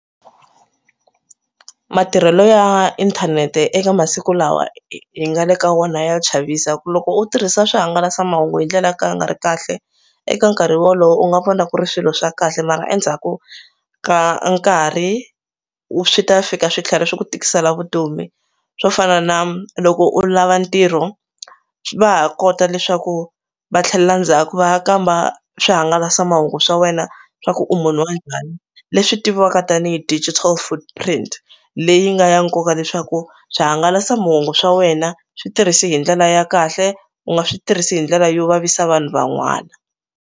Matirhelo ya inthanete eka masiku lawa hi hi nga le ka wona ya chavisa ku loko u tirhisa swihangalasamahungu hi ndlela yo ka ya nga ri kahle eka nkarhi wolowo u nga vona ku ri swilo swa kahle mara endzhaku ka nkarhi swi ta fika swi tlhela swi ku tikisela vutomi. Swo fana na loko u lava ntirho va ha kota leswaku va tlhelela ndzhaku va ya kamba swihangalasamahungu swa wena swa ku u munhu njhani leswi tiviwaka tanihi digital footprint leyi nga ya nkoka leswaku swihangalasamahungu swa wena swi tirhisi hi ndlela ya kahle u nga swi tirhisi hi ndlela yo vavisa vanhu van'wana.